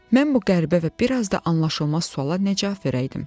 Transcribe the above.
Mən bu qəribə və bir az da anlaşılmaz suala nə cavab verəydim?